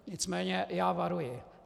Nicméně já varuji.